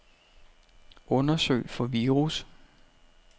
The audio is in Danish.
Undersøg for virus.